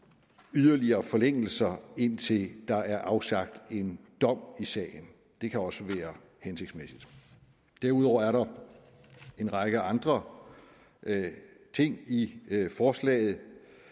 yderligere forlængelser indtil der er afsagt en dom i sagen det kan også være hensigtsmæssigt derudover er der en række andre ting i forslaget